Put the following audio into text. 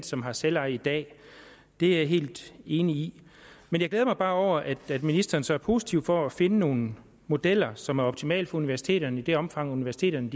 som har selveje i dag det er jeg helt enig i men jeg glæder mig bare over at ministeren så er positiv over for at finde nogle modeller som er optimale for universiteterne i det omfang universiteterne